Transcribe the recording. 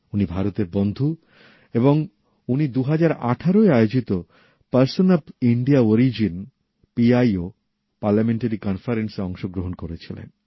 উনি ভারতের বন্ধু এবং উনি ২০১৮এ আয়োজিত ভারতীয় বংশোদ্ভুতদের সাংসদ সম্মেলনে অংশগ্রহণ করেছিলেন